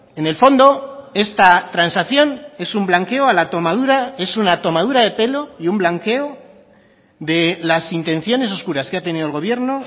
en el fondo esta transacción es un blanqueo a la tomadura es una tomadura de pelo y un blanqueo de las intenciones oscuras que ha tenido el gobierno